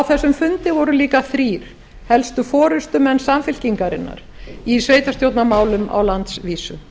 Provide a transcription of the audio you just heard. þessum fundi voru líka þrír helstu forustumenn samfylkingarinnar í sveitarstjórnarmálum á landsvísu